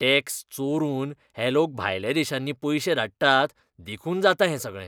Tax चोरून हे लोक भायल्या देशांनी पयशे धाडटात देखून जाता हें सगळें.